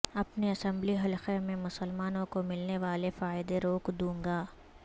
اپنے اسمبلی حلقہ میں مسلمانوں کو ملنے والے فائدے روک دوں گا